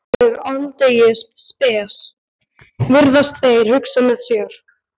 Þessi prestur er aldeilis spes, virðast þeir hugsa með sér.